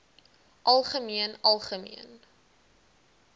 algemeen algemeen